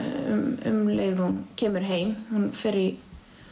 um leið og hún kemur heim hún fer í